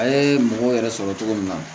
A ye mɔgɔw yɛrɛ sɔrɔ cogo min na